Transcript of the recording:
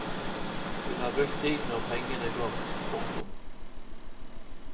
Hun har brukt tiden og pengene godt. punktum